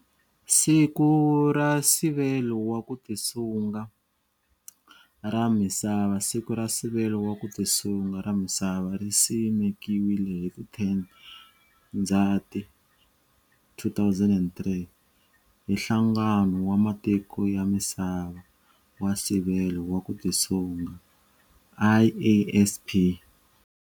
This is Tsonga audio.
Siku ra Nsivelo wa ku Tisunga ra Misava Siku ra Nsivelo wa ku Tisunga ra Misava ri simekiwile hi 10 Ndzati 2003 hi Nhlangano wa Matiko ya Misava wa Nsivelo wa ku Tisunga, IASP.